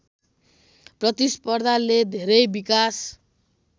प्रतिस्पर्धाले धेरै विकास